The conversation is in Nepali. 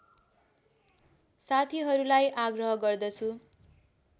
साथीहरूलाई आग्रह गर्दछु